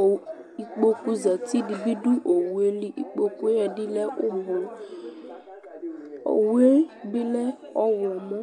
owu ikpoku zati dɩ bɩ dʋ owu yɛ li Ikpoku yɛ ɛdɩ lɛ ʋblʋ Owu yɛ bɩ lɛ ɔɣlɔmɔ